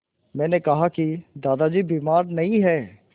मैंने कहा कि दादाजी बीमार नहीं हैं